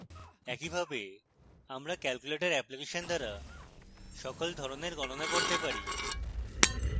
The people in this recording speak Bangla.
একইভাবে আমরা calculator অ্যাপ্লিকেশন দ্বারা সকল ধরণের গণনা করতে পারি